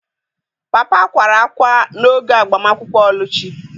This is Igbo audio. Papa kwara ákwá n'oge agbamakwụkwọ Oluchi.